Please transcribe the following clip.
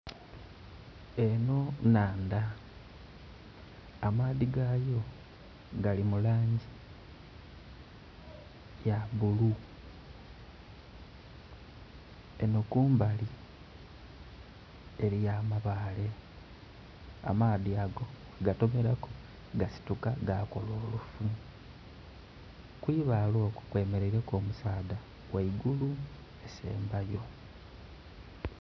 Enho nhandha, amaadhi gaayo gali mu langi ya bulu, eno kumbali eriyo amabaale, amaadhi ago bwegatomeraku gasituka gakola olufu. Ku ibaale okwo kwemeleireku omusaadha ghaigulu esembayo.